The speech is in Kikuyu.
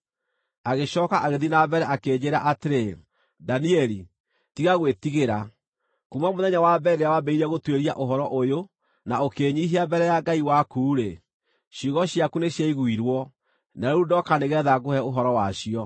Agĩcooka agĩthiĩ na mbere akĩnjĩĩra atĩrĩ, “Danieli, tiga gwĩtigĩra. Kuuma mũthenya wa mbere rĩrĩa wambĩrĩirie gũtuĩria ũhoro ũyũ na ũkĩĩnyiihia mbere ya Ngai waku-rĩ, ciugo ciaku nĩciaiguirwo, na rĩu ndoka nĩgeetha ngũhe ũhoro wacio.